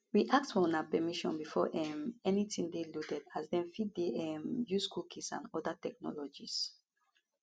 we ask for una permission before um anytin dey loaded as dem fit dey um use cookies and oda technologies